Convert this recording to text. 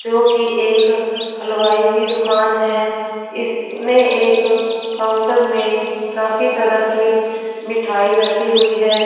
क्योंकि एक हलवाई की दुकान है इसमें एक काउंटर में काफी तरह की मिठाई रखी हुई है।